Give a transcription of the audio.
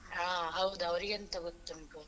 ಹ ಹೌದು ಅವರಿಗೆ ಎಂತ ಗೊತ್ತುಂಟು.